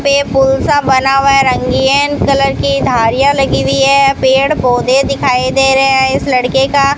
पे पुल सा बना हुआ है रंगीन कलर की धारियां लगी हुई है पेड़ पौधे दिखाई दे रहे है इस लड़के का --